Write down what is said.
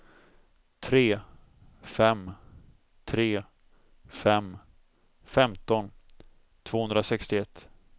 tre fem tre fem femton tvåhundrasextioett